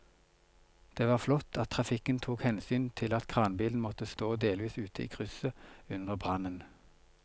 Det var flott at trafikken tok hensyn til at kranbilen måtte stå delvis ute i krysset under brannen.